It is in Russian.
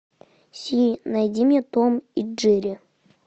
сири найди мне том и джерри